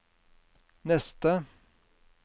neste